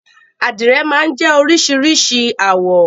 Àdìrẹ̀ máa ń jẹ́ oríṣìíríṣìí àwọ̀.